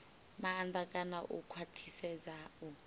maanḓa kana u khwaṱhisedza u